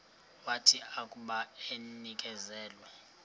wathi akuba enikezelwe